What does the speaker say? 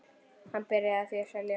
Hann byrjaði því að selja.